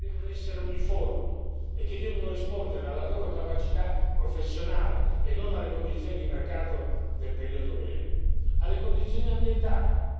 alle condizioni materiali, che devono essere uniformi e che devono rispondere alla loro capacità professionale e non alle condizioni di mercato del periodo breve